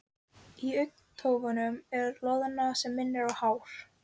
Hringur er í óða önn að búa sig í skólann.